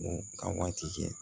U ka waati kɛ